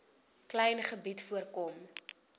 klein gebied voorkom